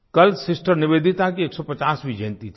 कल सिस्टर निवेदिता की 150वीं जयंती थी